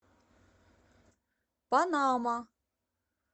панама